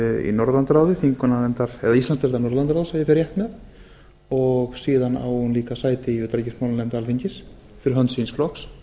í norðurlandaráði eða íslandsdeildar norðurlandaráðs ef ég fer rétt með og síðan á hún líka sæti í utanríkismálanefnd alþingis fyrir hönd síns flokks